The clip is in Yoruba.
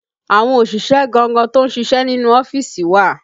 Àwọn òṣìṣẹ́ gangan tó ń ṣíṣe nínú ọ́fíìsì wà